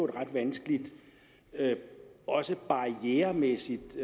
ret vanskeligt og også barrieremæssigt